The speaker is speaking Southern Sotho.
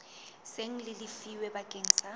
seng le lefilwe bakeng sa